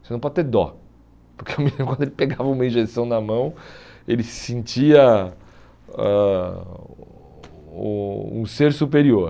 Você não pode ter dó, porque o menino quando ele pegava uma injeção na mão, ele se sentia ãh o um ser superior.